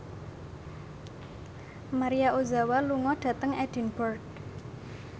Maria Ozawa lunga dhateng Edinburgh